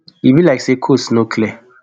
e be like say coast no clear